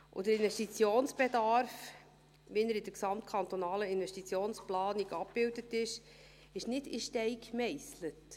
Der Investitionsbedarf, wie er in der GKIP abgebildet ist, ist nicht in Stein gemeisselt.